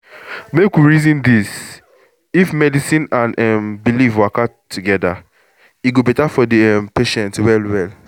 make we reason this — if medicine and um belief waka together e go better for the um patient well well.